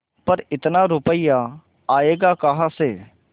पर इतना रुपया आयेगा कहाँ से